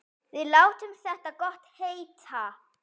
Við látum þetta gott heita.